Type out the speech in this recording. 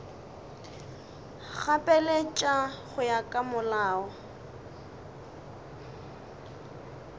gapeletša go ya ka molao